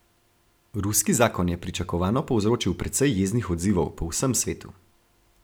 Ruski zakon je pričakovano povzročil precej jeznih odzivov po vsem svetu.